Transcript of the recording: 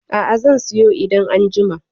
A'a, zan siyo idan an jima.